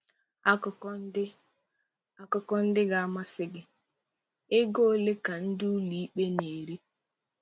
Akụkọ ndị Akụkọ ndị ga-amasị gị: Ego ole ka ndị ụlọikpe na-eri?